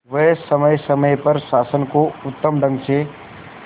वह समय समय पर शासन को उत्तम ढंग से